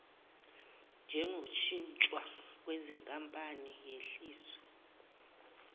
njengoshintshwa kwezinkampani yehliswe